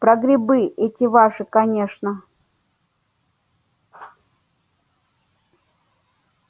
про грибы эти ваши конечно